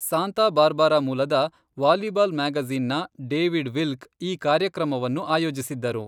Santa Barbara ಮೂಲದ volleyball magazine ನ David Wilk ಈ ಕಾರ್ಯಕ್ರಮವನ್ನು ಆಯೋಜಿಸಿದ್ದರು.